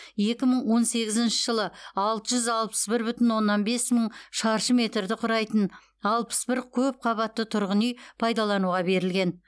екі мың он сегізінші жылы алты жүз алпыс бір бүтін оннан бес мың шаршы метрді құрайтын алпыс бір көп қабатты тұрғын үй пайдалануға берілген